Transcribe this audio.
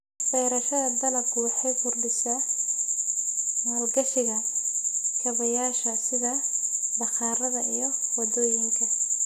Beerashada dalaggu waxay kordhisaa maalgashiga kaabayaasha sida bakhaarada iyo waddooyinka.